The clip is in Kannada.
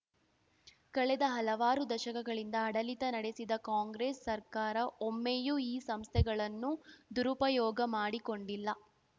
ಕಳೆದ ಹಲವಾರು ದಶಕಗಳಿಂದ ಆಡಳಿತ ನಡೆಸಿದ್ದ ಕಾಂಗ್ರೆಸ್‌ ಸರ್ಕಾರ ಒಮ್ಮೆಯೂ ಈ ಸಂಸ್ಥೆಗಳನ್ನು ದುರುಪಯೋಗ ಮಾಡಿಕೊಂಡಿಲ್ಲ